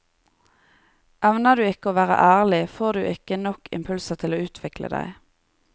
Evner du ikke å være ærlig, får du ikke nok impulser til å utvikle deg.